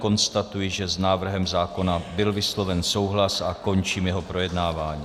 Konstatuji, že s návrhem zákona byl vysloven souhlas, a končím jeho projednávání.